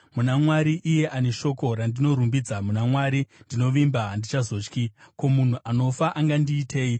Muna Mwari, iye ane shoko randinorumbidza, muna Mwari ndinovimba; handichazotyi. Ko, munhu anofa angandiitei?